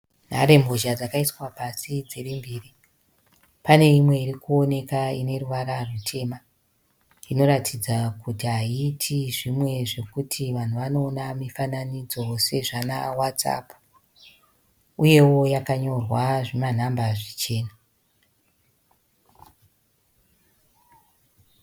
Nharembozha dzakaiswa pasi dzimbiri. Pane imwe ikuonekwa ine ruvara rutema , inoratidza kuti haite zvimwe zvekuti vanhu vanoona mifananidzo sezvana whatsapp. Uyewo yakanyorwa zvima namba zvichena.